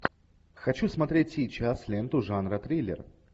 хочу смотреть сейчас ленту жанра триллер